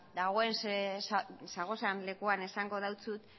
zauden lekuan esango dautzut